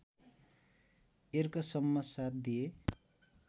यर्कसम्म साथ दिए